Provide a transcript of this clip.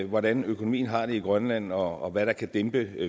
hvordan økonomien har det i grønland og om hvad der kan dæmpe